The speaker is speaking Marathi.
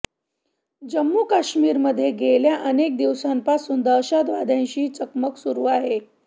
जम्मू काश्मीरमध्ये गेल्या अनेक दिवसांपासून दहशतवाद्यांशी चकमक सुरु आहे